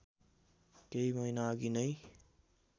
केही महिनाअघि नै